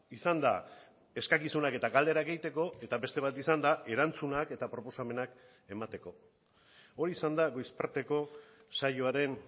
izan da eskakizunak eta galderak egiteko eta beste bat izan da erantzunak eta proposamenak emateko hori izan da goiz parteko saioaren